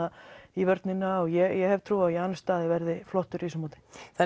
í vörninni og ég hef trú á Janus Daði verði flottur í þessu móti